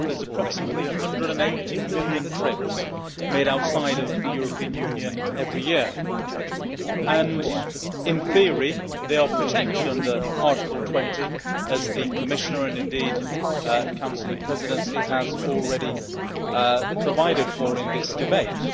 Well, there are approximately 180 million trips made outside of the European Union every year, and in theory they are protected under Article 20, as the Commissioner and indeed the Council Presidency have already provided for in this debate.